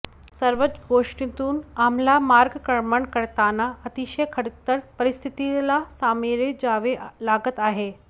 सर्वच गोष्टीतून आम्हाला मार्गक्रमण करताना अतिशय खडतर परिस्थितीला सामोरे जावे लागत आहे